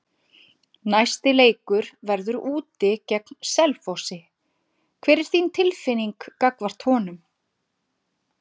Næsti leikur verður úti gegn Selfossi, hver er þín tilfinning gagnvart honum?